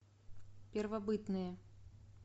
первобытные